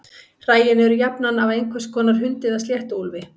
Hræin eru jafnan af einhvers konar hundi eða sléttuúlfi.